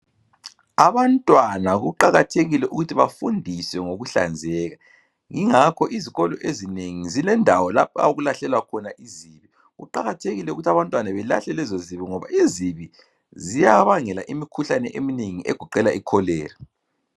Abantwana kuqakathekile ukuthi bafundiswe ngokuhlanzeka yingakho izikolo ezinengi zilendawo lapho okulahlelwa khona izibi kuqakathekile ukuthi abantwana belahle lezo zibi ngoba izibi ziyabangela imikhuhlane eminengi egoqela i cholera.